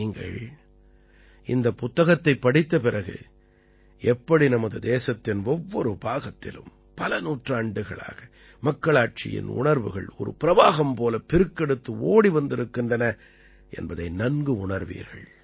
நீங்கள் இந்தப் புத்தகத்தைப் படித்த பிறகு எப்படி நமது தேசத்தின் ஒவ்வொரு பாகத்திலும் பல நூற்றாண்டுகளாக மக்களாட்சியின் உணர்வுகள் ஒரு பிரவாகம் போல பெருக்கெடுத்து ஓடி வந்திருக்கின்றன என்பதை நன்கு உணர்வீர்கள்